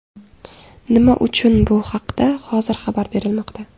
Nima uchun bu haqda hozir xabar berilmoqda?